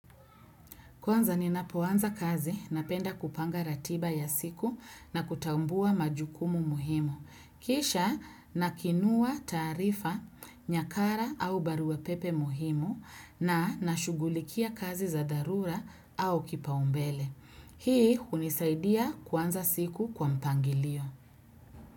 Kwanza ninapoanza kazi, napenda kupanga ratiba ya siku na kutambua majukumu muhimu. Kisha nakiinua taarifa, nyakara au baruapepe muhimu na nashughulikia kazi za dharura au kipaumbele. Hii hunisaidia kuanza siku kwa mpangilio.